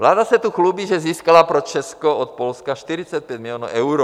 Vláda se tu chlubí, že získala pro Česko od Polska 45 milionů eur.